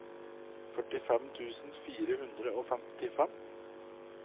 førtifem tusen fire hundre og femtifem